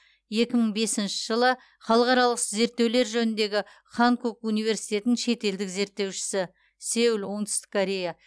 екі мың бесінші жылы халықаралық зерттеулер жөніндегі ханкук университетінің шетелдік зерттеушісі сеул оңтүстік корея